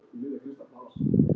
Hún Gulla er farin